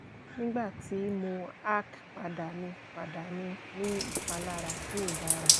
nigbati mo arch pada mi pada mi ni ipalara ti o dara